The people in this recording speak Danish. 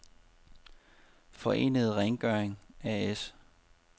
Forenede Rengøring A/S